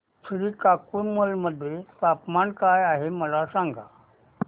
श्रीकाकुलम मध्ये तापमान काय आहे मला सांगा